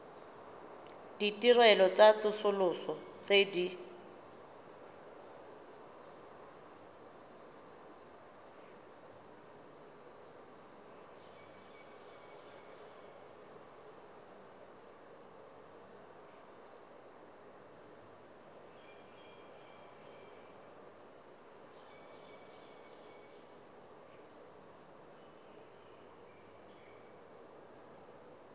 ditirelo tsa tsosoloso tse di